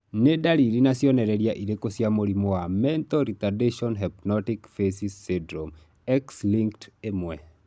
Nĩ ndariri na cionereria irĩkũ cia mũrimũ wa Mental retardation hypotonic facies syndrome X linked, 1?